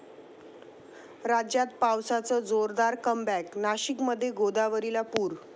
राज्यात पावसाचं जोरदार 'कमबॅक', नाशिकमध्ये गोदावरीला पूर!